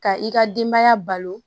Ka i ka denbaya balo